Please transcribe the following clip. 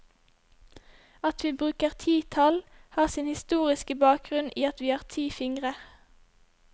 At vi bruker ti tall, har sin historiske bakgrunn i at vi har ti fingrer.